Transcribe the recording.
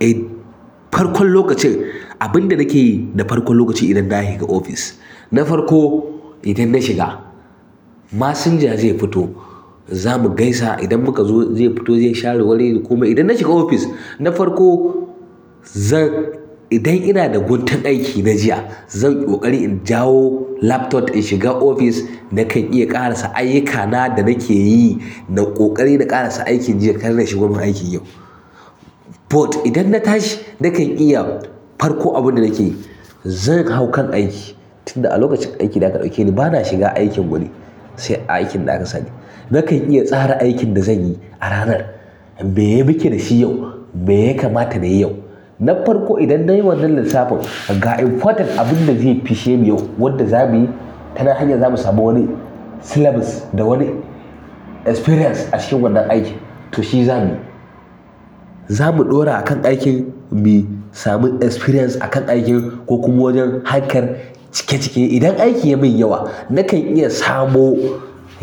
Eh farkon lokacin abin da nake yi da farkon lokaci idan na shiga ofis, na farko idan na shiga masinja zai fito zamu gaisa idan muka zo zai fito zai share wuri yayi komai idan na shiga ofis na farko zan idan ina da guntun aiki na jiya zan ƙoƙari in jawo laptop in shiga ofis nakan iya ƙarasa ayyukana da nake yi na ƙoƙari na ƙarasa aikin jiya kar na shiga kuma aikin yau. But idan na tashi nakan iya farko abin da nake yi zan hau kan aiki tun da a lokacin aikin da aka ɗauke ni bana shiga aikin wani sai a aikin da aka sani. Nakan iya tsara aikin da zan yi a ranar me ye muke da shi yau, me ya kamata nayi yau? Na farko idan nayi wannan lissafin ga important abun da zai fishe ni yau wanda za mu yi ta nan hanyar zamu samu wani syllabus da wani experience a cikin wannan aikin to shi za muyi, za mu ɗora a kan aikin mu sami experience a kan aikin ko kuma wajen harkar cike cike idan aikin ya min yawa nakan iya samo